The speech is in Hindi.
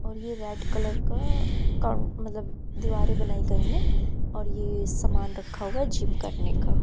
और ये रेड कलर का कॉन मतलब दिवारें बनाई गई हैं और ये समान रखा हुआ है जिम करने का।